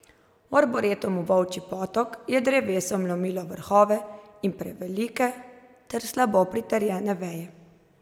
V Arboretumu Volčji Potok je drevesom lomilo vrhove in prevelike ter slabo pritrjene veje.